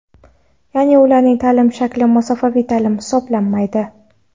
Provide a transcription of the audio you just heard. yaʼni ularning taʼlim shakli masofaviy taʼlim hisoblanmaydi.